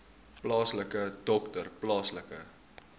plaaslike dokter plaaslike